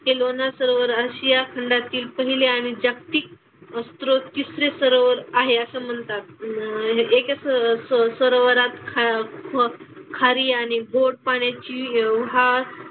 ते लोणार सरोवर आशिया खंडातील पहिले आणि जागतिक स्रोत तिसरे सरोवर आहे असं म्हणतात. अन एक असं स सरोवरा खा ख खारी आणि गोड पाण्याची हा,